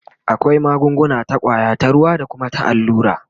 akwai magunguna ta kwaya, ta ruwa da Kuma na allura